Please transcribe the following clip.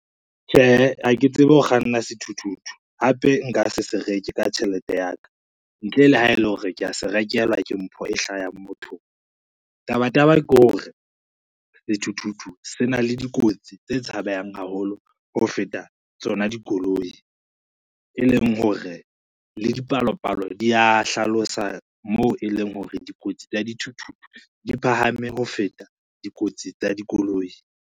Tjhe, ha ke tsebe ho kganna sethuthuthu hape nka se se reke ka tjhelete ya ka, ntle le ha ele hore ke a se rekelwa ke mpho e hlahang mothong. Tabataba ke hore sethuthuthu se na le dikotsi tse tshabehang haholo ho feta tsona dikoloi, e leng hore le dipalopalo di a hlalosa mo e leng hore dikotsi tsa dithuthuthu di phahame ho feta dikotsi tsa dikoloi.